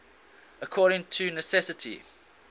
according to necessity